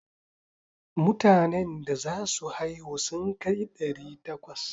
Mutanen da za su haihu sun kai ɗari takwas.